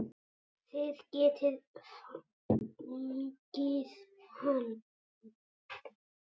Þið getið fengið hann